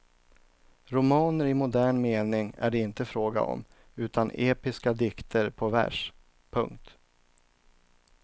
Romaner i modern mening är det inte fråga om utan episka dikter på vers. punkt